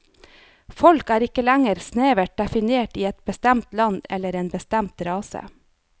Folk er ikke lenger snevert definert i et bestemt land eller en bestemt rase.